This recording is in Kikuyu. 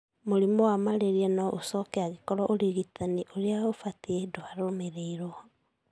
Mũrimũ wa malaria no ũcoke angĩkorwo ũrigitani ũrĩa ũbatie ndwatũmĩrirwo.